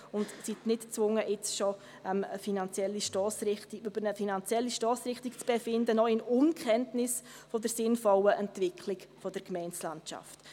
So sind Sie nicht gezwungen, jetzt schon über eine finanzielle Stossrichtung zu befinden, noch in Unkenntnis der sinnvollen Entwicklung der Gemeindelandschaft.